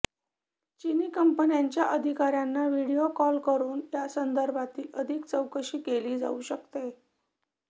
चीनी कंपन्यांच्या अधिकाऱ्यांना व्हिडीओ कॉल करुन यासंदर्भातील अधिक चौकशी केली जाऊ शकते